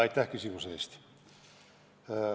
Aitäh küsimuse eest!